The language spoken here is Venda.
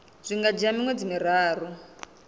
zwi nga dzhia miṅwedzi miraru